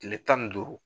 Tile tan ni duuru